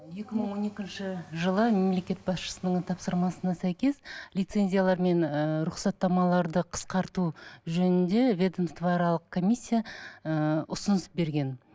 екі мың он екінші жылы мемлекет басшысының тапсырмасына сәйкес лицензиялар мен ыыы рұқсаттамаларды қысқарту жөнінде ведомствоаралық комиссия ы ұсыныс берген